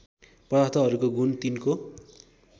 पदार्थहरूको गुण तिनको